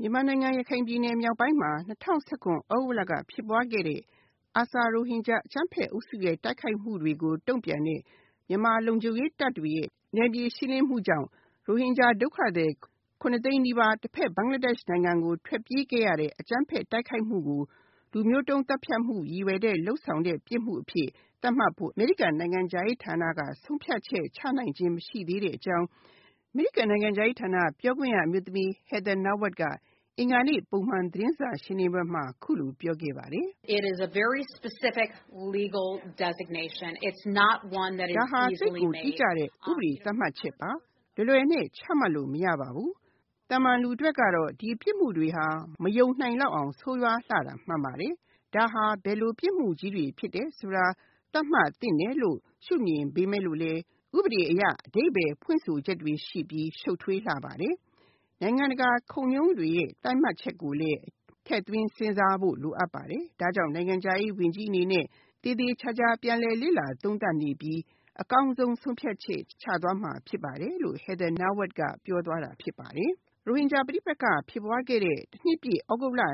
မြန်မာနိုင်ငံ ရခိုင်ပြည်နယ်မြောက်ပိုင်းမှာ ၂၀၁၇ သြဂုတ်လက ဖြစ်ပွားခဲ့တဲ့ ARSA ရိုဟင်ဂျာ အကြမ်းဖက်အုပ်စုရဲ့ တိုက်ခိုက်မှုတွေကိုတုံ့ပြန်တဲ့ မြန်မာလုံခြုံရေးတပ်တွေရဲ့ နယ်မြေရှင်းလင်းမှုကြောင့် ရိုဟင်ဂျာဒုက္ခသည် ၇ သိန်းနီးပါး တဖက် ဘင်္ဂလားဒေ့ရှ်နိုင်ငံကို ထွက်ပြေးခဲ့ရတဲ့ အကြမ်းဖက်တိုက်ခိုက်မှုကို လူမျိုးတုံးသတ်ဖြတ်မှုရည်ရွယ်တဲ့ ပြစ်မှုအဖြစ်သတ်မှတ်ဖို့ အမေရိကန်နိုင်ငံခြားရေးဌာနက ဆုံးဖြတ်ချက်ချနိုင်သေးတာ မရှိသေးတဲ့အကြောင်း အမေရိကန်နိုင်ငံခြားရေးဌာန ပြောခွင့်ရအမျိုးသမီး Heather Nauert က အင်္ဂါနေ့ ပုံမှန်သတင်းစာရှင်းလင်းပွဲမှာ အခုလိုပြောခဲ့ပါတယ်။ ဒါဟာ သိပ်ကိုတိကျတဲ့ ဥပဒေသတ်မှတ်ချက်ပါ။ လွယ်လွယ်နဲ့ ချမှတ်လို့ မရပါဘူး။ သာမန်လူအတွက်ကတော့ ဒီပြစ်မှုတွေဟာ မယုံနိုင်လောက်အောငဆိုးရွားတာမှန်ပါတယ်။ ဒါဟာ ဘယ်လိုပြစ်မှုကြီးတွေဖြစ်တယ်ဆိုတာ သတ်မှတ်သင့်တယ်လို့ ရှု့မြင်ပေမယ့်လို့ ဥပဒေအရ အဓိပ္ပါယ်ဖွင့်ဆိုချက်တွေရှိပြီး ရှုပ်ထွေးလှပါတယ်။ နိုင်ငံတကာ ခုံရုံးတွေရဲ့ သတ်မှတ်ချက်ကိုလည်း ထည့်သွင်းစဉ်းစားဖို့လိုပါတယ်။ ဒါကြောင့်နိုင်ငံခြားရေး ဝန်ကြီးအနေနဲ့ သေသေချာချာပြန်လည်လေ့လာသုံးသပ်နေပြီး အကောင်းဆုံး ဆုံးဖြတ်ချက်ချသွားမှာဖြစ်ပါတယ်လို့ Heather Nauert ကပြောသွားတာဖြစ်ပါတယ်။ ရိုဟင်ဂျာပဋိပက္ခဖြစ်ပွားခဲ့တဲ့ ၁ နှစ်ပြည့် သြဂုတ်လ ၂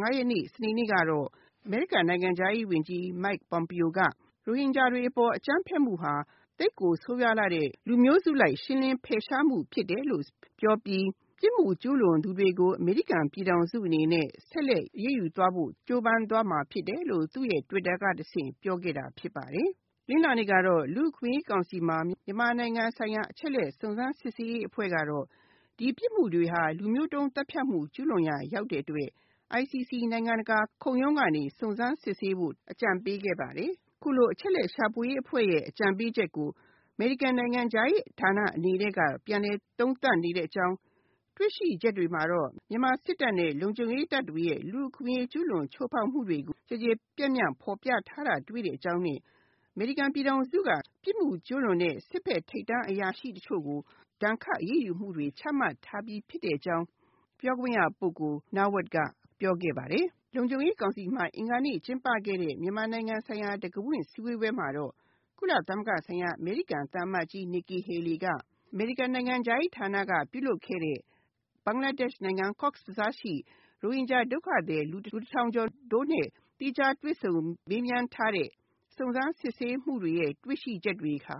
၅ ရက်နေ့ စနေနေ့ကတော့ အမေရိကန်နိုင်ငံခြားရေးဝန်ကြီး Mike Pompeo က ရိုဟင်ဂျာတွေအပေါ်အကြမ်းဖက်မှုဟာ သိပ်ကိုဆိုးဝါးလှတဲ့ လူမျိုးစုလိုက် ရှင်းလင်းဖယ်ရှားမှုဖြစ်တယ်လို့ ပြောပြီး ပြစ်မှုကျူးလွန်သူတွေကို အမေရိကန်ပြည်ထောင်စုအနေအနဲ့ ဆက်လက်အရေးယူဖို့ ကြိုးပမ်းသွားမှာဖြစ်တယ်လို့ သူ့ Twitter ကတဆင့်ပြောခဲ့တာဖြစ်ပါတယ်။ တနင်္လာနေ့ကတော့ လူ့အခွင့်အရေးကောင်စီမှာ မြန်မာနိုင်ငံဆိုင်ရာ အချက်အလက် စုံစမ်းစစ်ဆေးရေးအဖွဲ့ကတော့ ဒီပြစ်မှုတွေဟာ လူမျိုးတုန်းသတ်ဖြတ်မှု ကျူးလွန်ရာရောက်တဲ့အတွက် ICC နိုင်ငံတကာခုံရုံးကနေ စုံစမ်းစစ်ဆေးဖို့ အကြံပေးခဲ့ပါတယ်။ အခုလိုအချက်အလက်ရှာဖွေရေးအဖွဲ့ရဲ့ အကြံပေးချက်ကို အမေရိကန်နိုင်ငံခြားရေးဌာနအနေနဲ့က ပြန်လည်သုံးသပ်နေတဲ့အကြောင်း တွေ့ရှိချက်တွေမှာတော့ မြန်မာစစ်တပ်နဲ့ လုံခြုံရေးတပ်တွေရဲ့ လူ့အခွင့်အရေးကျူးလွန်ချိုးဖောက်မှု ကျယ်ကျယ်ပြန့်ပြန်ဖော်ပြထားတာတွေ့ရတဲ့အကြောင်းနဲ့ အမေရိကန်ပြည်ထောင်စုက ပြစ်မှုကျူးလွန်တဲ့ စစ်ဖက်ဆိုင်ရာထိပ်တန်းအရာရှိတချို့ကို ဒဏ်ခတ်အရေးယူမှုတွေ ချမှတ်ထားပြီးဖြစ်တဲ့အကြောင်း Heather Nauert ကပြောသွားတာဖြစ်ပါတယ်။ လုံခြုံရေးကောင်စီမှာ အင်္ဂါနေ့က ကျင်းပခဲ့တဲ့ မြန်မာနိုင်ငံဆိုင်ရာ တံခါးဖွင့်ဆွေးနွေးပွဲမှာလည်း ကုလဆိုင်ရာ အမေရိကန်သံအမတ်ကြီး Nikki Haleyက အမေရိကန်နိုင်ငံခြားရေးဌာနကပြုလုပ်ခဲ့တဲ့ ဘင်္ဂလားဒေ့ရှ်နိုင်ငံ Cox’s Bazar ရှိ ရိုဟင်ျဂျာ ဒုက္ခသည် လူ၁ ထောင်တို့နဲ့ သီးခြားတွေ့ဆုံမေးမြန်းထားတဲ့ စုံစမ်းစစ်ဆေးရေးမှူးတွေရဲ့ တွေ့ရှိချက်တွေဟာ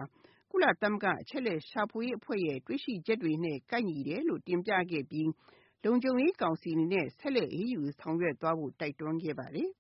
ကုလသမဂ္ဂအချက်အလက်ရှာဖွေရေးအဖွဲ့ရဲ့ တွေ့ရှိချက်တွေနဲ့ ကိုက်ညီတယ်လို့ တင်ပြခဲ့ပြီး လုံခြုံရေးကောင်စီအနေနဲ့ ဆက်ပြီးတော့ အရေးယူဆောင်ရွက်ဖို့ တိုက်တွန်းခဲ့ပါတယ်။